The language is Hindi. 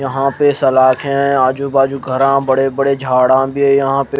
यहा पे सलाखे है आजू बाजु घर बड़े बड़े झाडा भी है यहा पे--